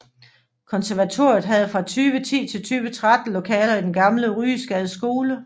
Konservatoriet havde fra 2010 til 2013 lokaler i den gamle Ryesgades Skole